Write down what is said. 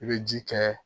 I bɛ ji kɛ